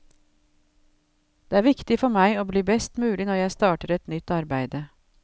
Det er viktig for meg å bli best mulig når jeg starter et nytt arbeide.